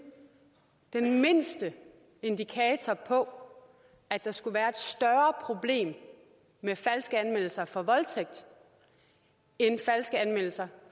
den mindste indikator på at der skulle være et større problem med falske anmeldelser for voldtægt end falske anmeldelser